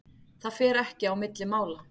Það fer ekki á milli mála.